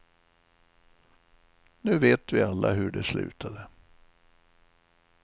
Nu vet vi alla hur det slutade.